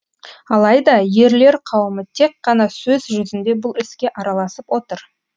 алайда ерлер қауымы тек қана сөз жүзінде бұл іске араласып отыр